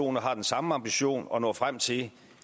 og har den samme ambition og når frem til